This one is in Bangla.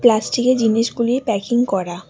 প্লাস্টিকের জিনিসগুলি প্যাকিং করা।